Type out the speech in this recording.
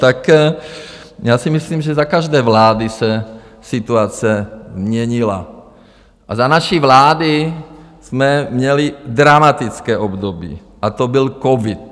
Tak já si myslím, že za každé vlády se situace měnila a za naší vlády jsme měli dramatické období, a to byl covid.